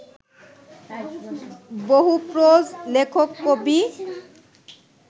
বহুপ্রজ লেখক কবি